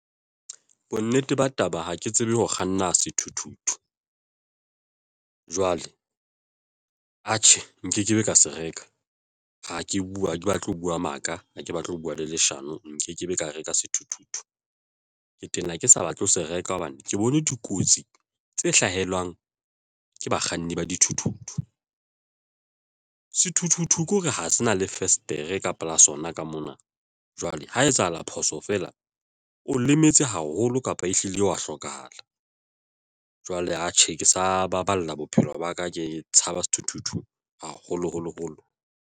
Bonnete ba taba ha ke tsebe ho kganna sethuthuthu jwale, atjhe, nkekebe ka se reka ha ke bua ha ke batle ho bua maka, ha ke batle ho bua le leshano nkekebe ka reka sethuthuthu ke tena ke sa batle ho se reka hobane ke bone dikotsi tse hlahelwang ke bakganni ba dithuthuthu. Sethuthuthu ke hore ha se na le festere kapa la sona ka mona. Jwale ho etsahala phoso feela o lemetse haholo kapa ehlile wa hlokahala. Jwale, atjhe ke sa baballa bophelo ba ka ke tshaba sethuthuthu, haholoholo holo.